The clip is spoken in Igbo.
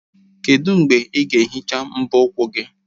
Kedu mgbe ị ga-ehicha mbọ ụkwụ gị?